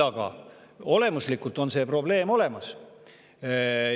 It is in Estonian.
Aga olemuslikult on see probleem küll olemas.